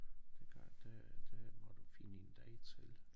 Det gør det det må du finde en dag til